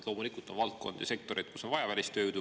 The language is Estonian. Loomulikult on valdkondi ja sektoreid, kus on vaja välistööjõudu.